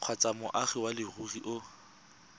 kgotsa moagi wa leruri o